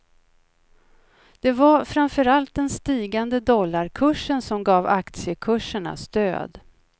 Det var framför allt den stigande dollarkursen som gav aktiekurserna stöd.